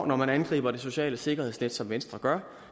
når man angriber det sociale sikkerhedsnet som venstre gør